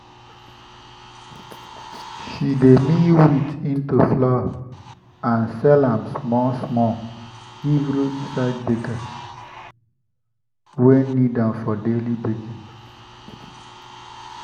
she dey mill wheat into flour and sell am small-small give roadside baker wey need am for daily baking.